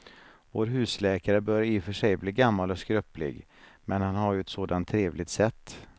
Vår husläkare börjar i och för sig bli gammal och skröplig, men han har ju ett sådant trevligt sätt!